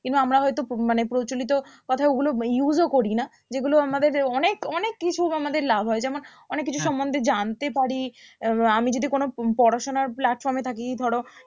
কিংবা আমরা হয়তো মানে প্রচলিত কোথায় ওগুলো use ও করি না যেগুলো আমাদের অনেক অনেক কিছু আমাদের লাভ হয় যেমন অনেক কিছু সম্মন্ধে জানতে পারি আহ আমি যদি কোনো পড়াশোনার platform এ থাকি ধরো